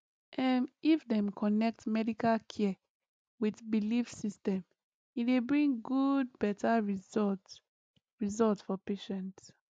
ehm if dem connect medical care with belief system e dey bring good better result result for patient